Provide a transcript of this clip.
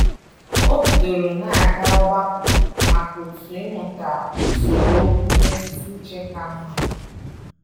O bidoro na aga ogbakọ maka otu ịmụta usoro okwu mmetụta uche ka mma